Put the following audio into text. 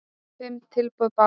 Fimm tilboð bárust